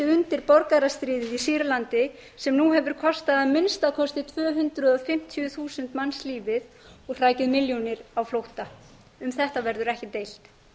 undir borgarastríðið í sýrlandi sem nú hefur kostað að minnsta kosti tvö hundruð fimmtíu þúsund manns lífið og hrakið milljónir á flótta um þetta verður ekki deilt